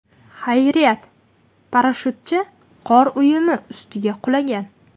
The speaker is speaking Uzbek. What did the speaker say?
Xayriyat, parashyutchi qor uyumi ustiga qulagan.